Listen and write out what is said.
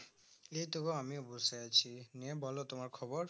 এইতো গো আমিও বসে আছি নিয়ে বলো তোমার খবর